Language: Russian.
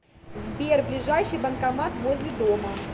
сбер ближайший банкомат возле дома